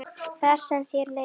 Þar sem þér leið best.